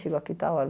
Chegou aqui tal hora.